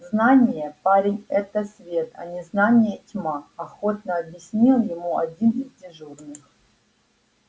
знание парень это свет а незнание тьма охотно объяснил ему один из дежурных